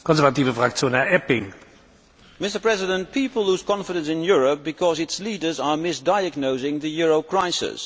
Mr President, people lose confidence in Europe because its leaders are misdiagnosing the euro crisis.